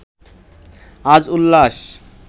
আজ উল্লাস